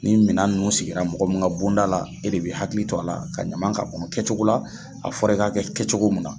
Ni minɛn nunnu sigira mɔgɔ min ka bonda la e de bɛ hakili to a la ka ɲaman ka kɔnɔ kɛ cogo la a fɔra i k'a kɛ kɛ cogo mun na.